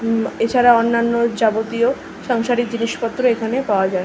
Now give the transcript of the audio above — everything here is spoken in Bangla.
এছাড়াও অন্যান্য যাবতীয় সাংসারিক জিনিসপত্র পাওয়া যায়।